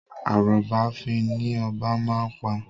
Arọ́ba fín ni obá máa ń pa.